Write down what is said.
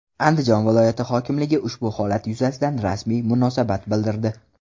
Andijon viloyati hokimligi ushbu holat yuzasidan rasmiy munosabat bildirdi .